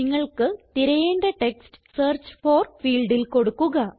നിങ്ങൾക്ക് തിരയേണ്ട text search for ഫീൽഡിൽ കൊടുക്കുക